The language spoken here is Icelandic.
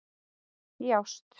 Í ást.